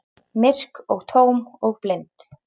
Myrk og tóm og blind.